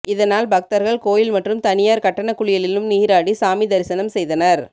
இதனால் பக்தர்கள் கோயில் மற்றும் தனியார் கட்டண குளியலிலும் நீராடி சாமி தரிசனம் செய்தனர்